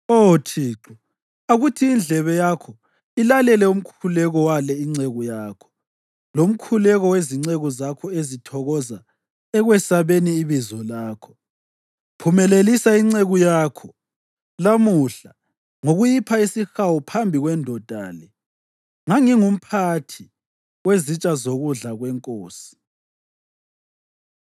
Oh Thixo, akuthi indlebe yakho ilalele umkhuleko wale inceku yakho, lomkhuleko wezinceku zakho ezithokoza ekwesabeni ibizo lakho. Phumelelisa inceku yakho lamuhla ngokuyipha isihawu phambi kwendoda le.” Ngangingumphathi wezitsha zokudla kwenkosi.